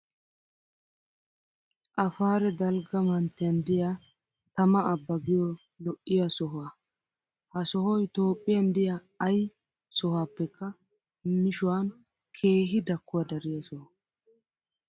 Afaare dalgga manttiyan diyaa tama abba giyoo lo'iyaa sohaa. Ha sohayi Toophiyan diya ayi sohaappekka mishuwan keehi dakkuwaa dariyaa soha.